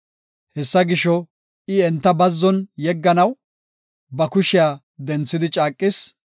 Hessa gisho, I enta bazzon yegganaw, ba kushiya denthidi caaqis.